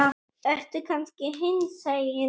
Ertu kannski hinsegin?